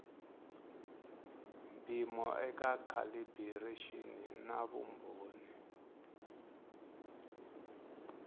mpimo eka calibiraxini na vumbhoni